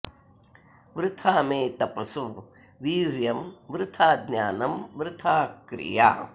वृथा मे तपसो वीर्यं वृथा ज्ञानं वृथा क्रिया